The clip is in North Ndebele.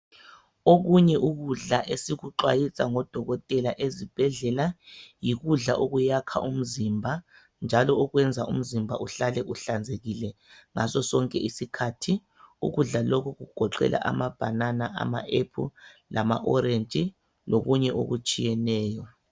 Okunye ukudla esikuxhwayiswa ngodokotela ezibhedlela yikudla okuyakha umzimba njalo okwenza umzimba uhlale uhlanzekile ngaso sonke isikhathi ukudla lokhu kugoqela ama banana ama apple lama orentshi lokunye okutshiyeneyo.